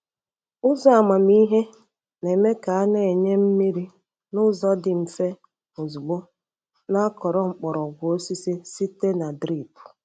Ụzọ amamihe na-eme ka a na-enye mmiri n'ụzọ dị mfe ozugbo n’akọrọ mgbọrọgwụ osisi site na drip.